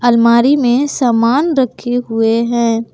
अलमारी में सामान रखे हुवे हैं।